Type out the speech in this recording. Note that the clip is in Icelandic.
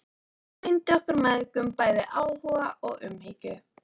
Hún sýndi okkur mæðgum bæði áhuga og umhyggju.